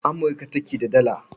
Amurka take da Dala.